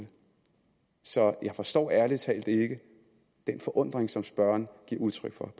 så jeg forstår ærlig talt ikke den forundring som spørgeren giver udtryk for